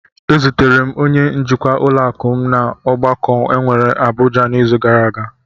Ezutere m onye njikwa ụlọakụ m n'ọgbakọ enwere n'Abụja n'izu gara aga.